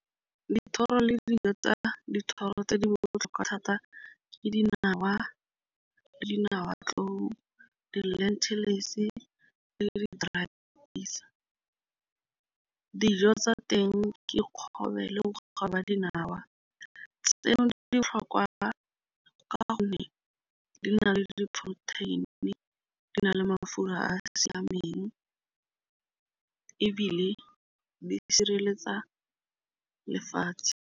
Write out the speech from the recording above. Dithoro le dijo tsa dithoro tse di botlhokwa thata ke dinawa. Dinawa di-lentiles le di . Dijo tsa teng ke kgobelo le ba dinawa tseno di le ditlhokwa ka gonne di na le di-protein di na le mafura a a siameng ebile di sireletsa lefatshe.